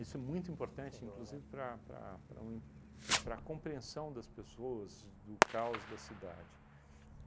Isso é muito importante, inclusive, para para para um en para a compreensão das pessoas do caos da cidade.